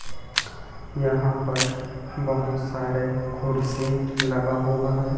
यहां पर बहोत सारे खुर्सी लगा हुआ है।